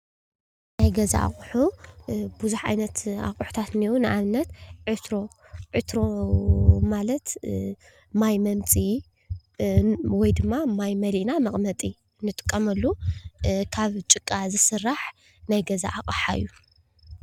ናይ ገዛ ኣቑሑ ብዙሕ ዓይነት ኣቑሑታት እንአዉ ንኣብነት "ዕትሮ" ዕትሮ ማለት ማይ መምፅኢ ወይ ድማ ማይ መሊእና መቐመጢ ንጥቀመሉ ካብ ጭቃ ዝስራሕ ናይ ገዛ ኣቕሓ እዩ።